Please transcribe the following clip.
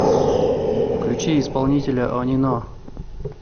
включи исполнителя онино